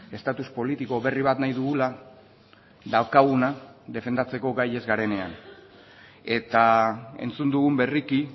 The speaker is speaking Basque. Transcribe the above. estatus politiko berri bat nahi dugula daukaguna defendatzeko gai ez garenean eta entzun dugun berriki